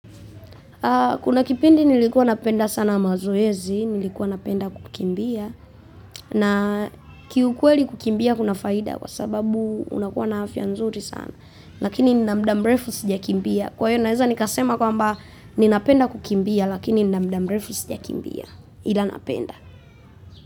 Kuna kipindi nilikua napenda sana mazoezi. Nilikua napenda kukimbia, na kiukweli kukimbia kuna faida kwa sababu unakua na afya nzuri sana. Lakini nina muda mrefu sijakimbia. Kwa hiyo naweza nikasema kwamba ninapenda kukimbia lakini nina muda mrefu sijakimbia. Ila napenda.